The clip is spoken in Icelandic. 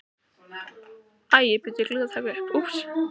SÉRA SIGURÐUR: Og Skúli gleymdi að bóka.